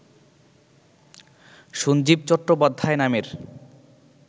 সঞ্জীব চট্টোপাধ্যায় নামের